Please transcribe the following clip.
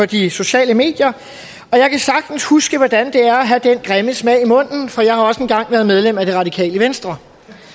de sociale medier og jeg kan sagtens huske hvordan det er at have den grimme smag i munden for jeg har også en gang været medlem af det radikale venstre